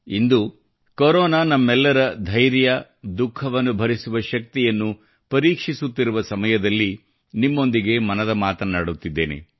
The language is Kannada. ಇಂದು ಕೊರೊನಾ ನಮ್ಮೆಲ್ಲರ ಧೈರ್ಯ ದುಖಃವನ್ನು ಭರಿಸುವ ಶಕ್ತಿಯನ್ನು ಪರೀಕ್ಷಿಸುತ್ತಿರುವ ಸಮಯದಲ್ಲಿ ನಿಮ್ಮೊಂದಿಗೆ ಮನದ ಮಾತನ್ನಾಡುತ್ತಿದ್ದೇನೆ